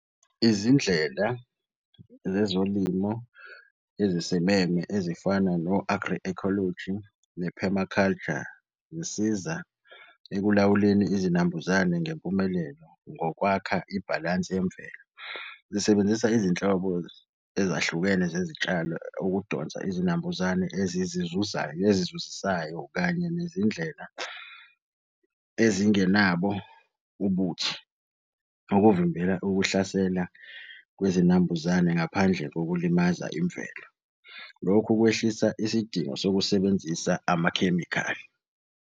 Izindlela zezolimo ezisimeme ezifana no-agroecology ne-permaculture zisiza ekulawuleni izinambuzane ngempumelelo ngokwakha ibhalansi yemvelo. Zisebenzisa izinhlobo ezahlukene zezitshalo ukudonsa izinambuzane ezizizuzayo nezizuzisayo kanye nezindlela ezingenabo ubuthi. Okuvimbela ukuhlasela kwezinambuzane ngaphandle kokulimaza imvelo. Lokhu kwehlisa isidingo sokusebenzisa amakhemikhali.